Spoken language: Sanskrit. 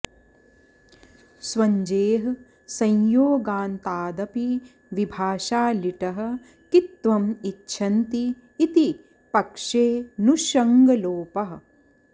स्वञ्जेः संयोगान्तादपि विभाषा लिटः कित्त्वम् इच्छन्ति इति पक्षे ऽनुषङ्गलोपः